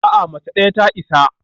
A'a, mace ɗaya ta isa